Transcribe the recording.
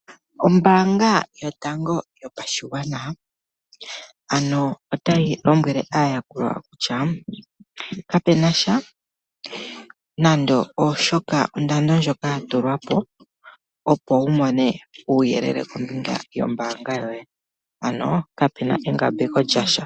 Ombaanga yotango yopashigwana ano otayi lombwele aayakulwa kutya, kapenasha nando shoka, onkundana ndjoka yatulwapo opo wumone uuyelele kombinga yombaanga yoye, ano kape engambeko lyasha.